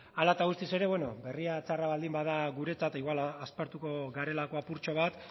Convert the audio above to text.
hala eta guztiz ere berria txarra baldin bada guretzat igual aspertuko garelako apurtxo bat